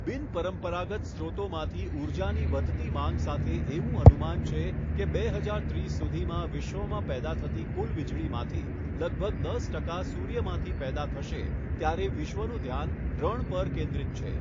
બિન પરંપરાગત સ્રોતોમાંથી ઉર્જાની વધતી માંગ સાથે એવું અનુમાન છે કે બે હજાર ત્રીસ સુધીમાં વિશ્વમાં પેદા થતી કુલ વીજળીમાંથી લગભગ દસ ટકા સૂર્યમાંથી પેદા થશે ત્યારે વિશ્વનું ધ્યાન રણ પર કેન્દ્રિત છે.